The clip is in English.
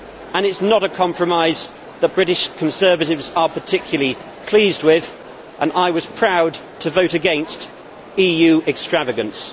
It is not a compromise that British Conservatives are particularly pleased with and I was proud to vote against EU extravagance.